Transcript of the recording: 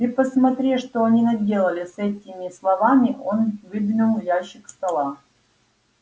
ты посмотри что они наделали с этими словами он выдвинул ящик стола